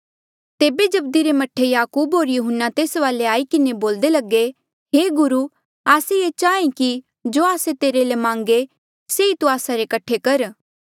तेबे जब्दी रे मह्ठे याकूब होर यहून्ना तेस वाले आई किन्हें बोल्दे लगे हे गुरु आस्से ये चाहें कि जो आस्से तेरे ले मांगे से ई तू आस्सा रे कठे कर